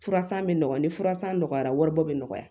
Furasan bɛ nɔgɔ ni furasan nɔgɔyara wari bɔ bɛ nɔgɔya